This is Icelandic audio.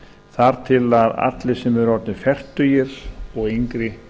þar til að allir sem eru orðnir fertugir og yngri